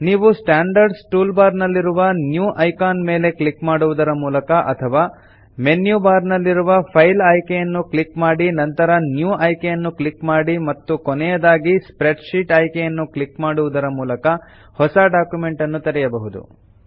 ನೀವು standard toolbar ನಲ್ಲಿರುವ new icon ಮೇಲೆ ಕ್ಲಿಕ್ ಮಾಡುವುದರ ಮೂಲಕ ಅಥವಾ ಮೆನ್ಯು ಬಾರ್ ನಲ್ಲಿರುವ ಫೈಲ್ ಆಯ್ಕೆಯನ್ನು ಕ್ಲಿಕ್ ಮಾಡಿ ನಂತರ ನ್ಯೂ ಆಯ್ಕೆಯನ್ನು ಕ್ಲಿಕ್ ಮಾಡಿ ಮತ್ತು ಕೊನೆಯದಾಗಿ ಸ್ಪ್ರೆಡ್ಶೀಟ್ ಆಯ್ಕೆಯನ್ನು ಕ್ಲಿಕ್ ಮಾಡುವುದರ ಮೂಲಕ ಹೊಸ ಡಾಕ್ಯುಮೆಂಟ್ ಅನ್ನು ತೆರೆಯಬಹುದು